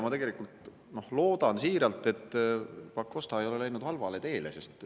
Tegelikult loodan siiralt, et Pakosta ei ole läinud halvale teele.